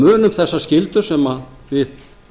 munum þessa skyldu sem við